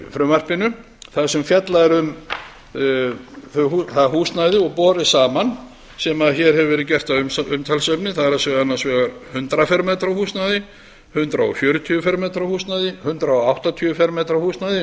frumvarpinu þar sem fjallað er um það húsnæði og borið saman sem hér hefur verið gert að umtalsefni það er annars vegar hundrað fermetra húsnæði fjórtán hundruð og fimmtíu fermetra húsnæði hundrað og áttatíu fermetra húsnæði eins og ég